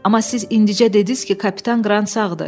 Amma siz indicə dediniz ki, kapitan Qrant sağdır.